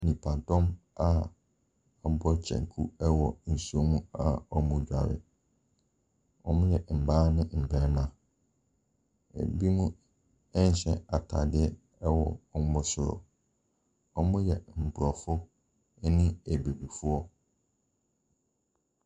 Nnipadɔm a wɔabɔ kyɛnku ɛwɔ nsuo mu a wɔredware, wɔyɛ mmaa ne mmarima. Binom ɛhyɛ ataadeɛ ɛwɔ wɔn soro, wɔyɛ aborɔfo ɛne abibifoɔ.